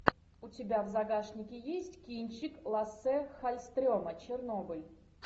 у тебя в загашнике есть кинчик лассе халльстрема чернобыль